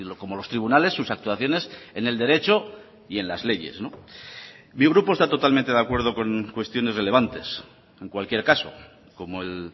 como los tribunales sus actuaciones en el derecho y en las leyes mi grupo está totalmente de acuerdo con cuestiones relevantes en cualquier caso como el